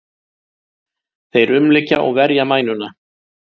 Þeir umlykja og verja mænuna.